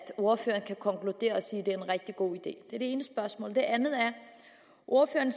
ordføreren kan konkludere og sige at det er en rigtig god idé er det ene spørgsmål det andet er at ordføreren